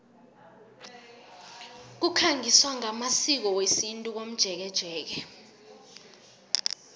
kukhangiswa ngamasiko wesintu komjekejeke